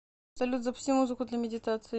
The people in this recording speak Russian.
салют запусти музыку для медитации